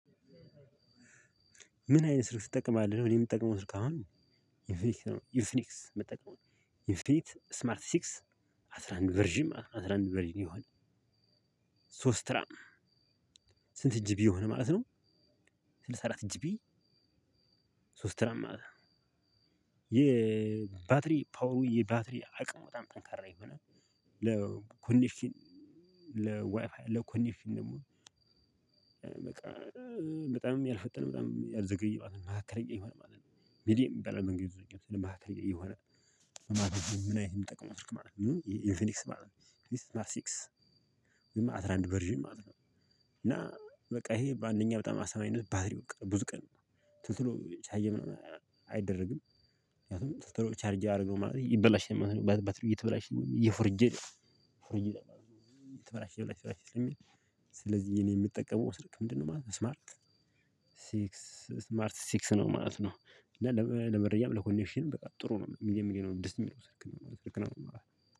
ምን አይነት ስልክ ትጠቀማለ? እኔ የምጠቀመው ስልክ አሁን ኢንፍኒክስ ነው። ኢንፍኒክስ የምጠቀመው። ስማርት ሲክስ አስራ አንድ ቨርዥን አስራ አንድ ቨርዥን ይሆነ። ሶስት ራም? ስንት ጂቢ ሆነ ማለት ነው። ስልሳ አራት ጂቢ ቢል። ሶስት ራም ማለት ነው። የባትሪ ፓወሩ የባትሪ አቅሙ በጣም ጠንካራ የሆነ ለኮነክሽን ለዋይፋይ ለኮነክሽን ደግሞ። በጣምም ያልፈጠነ በጣምም ያልዘገየ ማሃከለኛ የሆነ ማለት ነው። ሚዲየም ይባላል በእንግልዚኛ ማሃከለኛ የሆነ። ምን ነው? ምን አይነት የምጠቀመው ትልቅ ማለት ነው ኢንፊኒክስ ማለት ነው ማስቲክስ ወይም አስራ አንድ ቨርዥን ማለት ነው። እና በቃ ይሄ በአንደኛ በጣም አስተማሪ ባትሪው ብዙ ቀን ቶሎ ቶሎ ቻርጅ አይደረግም። ቻርጅ አረገው ማለት ይበላሻል ማለት ነው ባትሪው እየተበላሸ እየፎርጀደ ፎርጄ ይላል ተበላሸ ተበላሸ ስለሚል። ስለዚህ እኔ የምጠቀመው ስልክ ምንድነው? ማለት ነው ስማርት ስማርት ሲክስ ነው ማለት ነው። እና ለመረጃም ለኮኔክሽንም በቃ ጥሩ ነው ሚድየም ሚድየም ነው እንደዚህ የሚለው ስልክ ነው ማለት ነው።